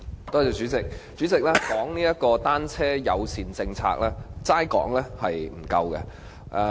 代理主席，關於單車友善政策，只是談論並不足夠。